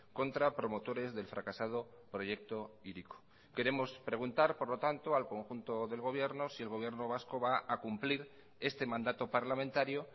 contra promotores del fracasado proyecto hiriko queremos preguntar por lo tanto al conjunto del gobierno si el gobierno vasco va a cumplir este mandato parlamentario